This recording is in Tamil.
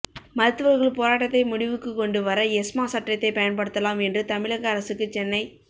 மருத்துவர்கள் போராட்டத்தை முடிவுக்கு கொண்டு வர எஸ்மா சட்டத்தை பயன்படுத்தலாம் என்று தமிழக அரசுக்கு சென்னை